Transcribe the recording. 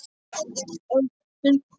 Öll klíkan.